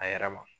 A yɛrɛ ma